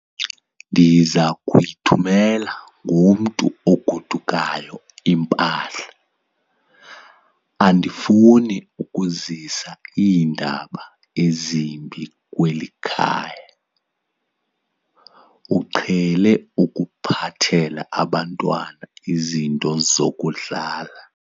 Ndiza kuyithumela ngomntu ogodukayo impahla. andifuni ukuzisa iindaba ezimbi kweli khaya, uqhele ukuphathela abantwana izinto zokudlala